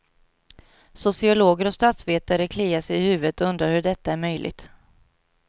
Sociologer och statsvetare kliar sig i huvudet och undrar hur detta är möjligt.